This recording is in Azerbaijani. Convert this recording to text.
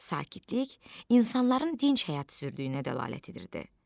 Sakitlik insanların dinç həyat sürdüyünə dəlalət edirdi.